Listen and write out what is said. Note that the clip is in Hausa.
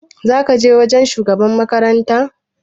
Za ka je wajen shugaban makaranta?